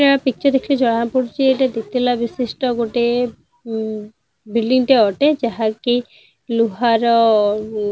ଏଟା ପିକ୍ଚର ଦେଖିଲେ ଜଣାପଡୁଛି ଏଟା ଦିତାଲା ବିଶିଷ୍ଟ ଗୋଟେ ଅ ବିଲଡିଂ ଟେ ଅଟେ ଯାହା କି ଲୁହା ର--